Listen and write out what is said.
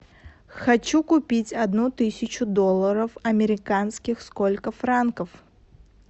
хочу купить одну тысячу долларов американских сколько франков